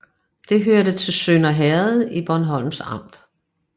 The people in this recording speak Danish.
Det hørte til Sønder Herred i Bornholms Amt